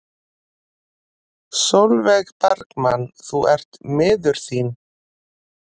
Sólveig Bergmann: Þú ert miður þín?